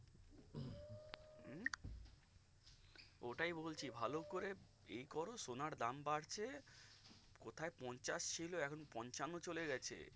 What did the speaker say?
ওটাই বলছি ভালো করে এই করো সোনার দাম বাড়ছে কোথায় পঞ্চাশ ছিল এখন পঁচানো চলে গেছে